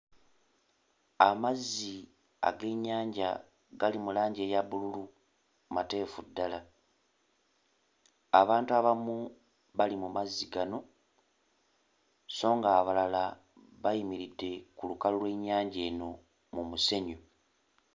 Amazzi ag'ennyanja gali mu langi eya bbululu, mateefu ddala. Abantu abamu bali mu mazzi gano so ng'abalala bayimiridde ku lukalu lw'ennyanja eno mu musenyu.